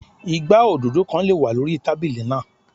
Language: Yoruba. Igbá òdòdó kan lè wà lórí tábílì náà.